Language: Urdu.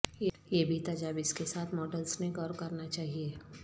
یہ بھی تجاویز کے ساتھ ماڈلز نے غور کرنا چاہیے